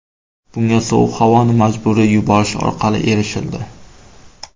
Bunga sovuq havoni majburiy yuborish orqali erishildi.